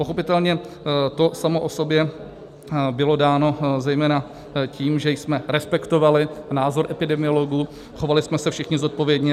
Pochopitelně to samo o sobě bylo dáno zejména tím, že jsme respektovali názor epidemiologů, chovali jsme se všichni zodpovědně.